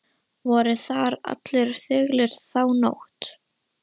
Voru þar allir þögulir þá nótt.